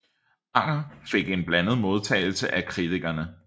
Anger fik en blandet modtagelse af kritikerne